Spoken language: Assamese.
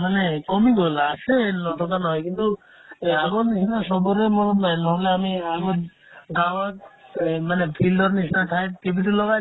মানে কমি গ'ল আছে নথকা নহয় কিন্তু এই আগৰ নিচিনা চবৰে মৰম নাই নহ'লে আমি আগত গাঁৱত এই মানে field ৰ নিচিনা ঠাইত TV তো লগাই লও